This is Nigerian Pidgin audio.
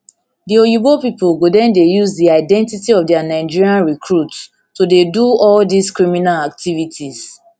di oyibo pipo go den dey use di identity of dia nigerian recruits to dey do all dis criminal activities activities